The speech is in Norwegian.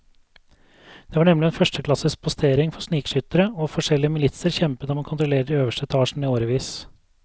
Det var nemlig en førsteklasses postering for snikskyttere, og forskjellige militser kjempet om å kontrollere de øverste etasjene i årevis.